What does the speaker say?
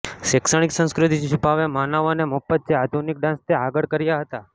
શૈક્ષણિક સંસ્કૃતિ છુપાવે માનવ અને મફત છે આધુનિક ડાન્સ તે આગળ કર્યા હતા